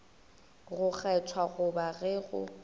go kgethwa goba ge go